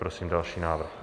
Prosím další návrh.